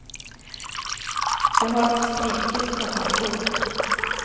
De har skrikit och haft ont.